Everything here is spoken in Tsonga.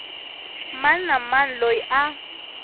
mani na mani loyi a